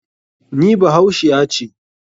NI bahaushiya ce.